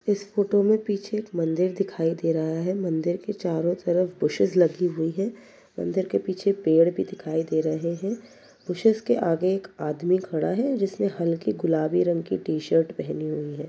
इस फोटो में पीछे एक मंदिर दिखाई दे रहा है मंदिर के चारों तरफ बुशेस लगी हुई हैं मंदिर के पीछे पेड़ भी दिखाई दे रहे हैं बुशेस के आगे एक आदमी खड़ा है जिसने हल्की गुलाबी रंग की टी-शर्ट पहनी हुई है।